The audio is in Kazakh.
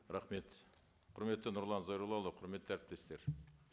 рахмет құрметті нұрлан зайроллаұлы құрметті әріптестер